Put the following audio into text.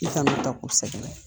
I kan'o ta k'u sɛgɛrɛ.